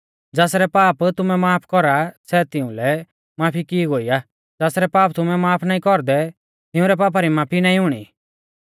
ज़ासरै पाप तुमै माफ कौरा सै तिउंलै माफ की ई गौऐ ई ज़ासरै पाप तुमै माफ नाईं कौरदै तिउंरै पापा री माफी नाईं हुणै